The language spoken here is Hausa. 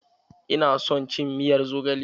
Ina son cin miyar zogale.